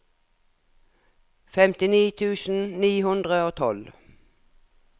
femtini tusen ni hundre og tolv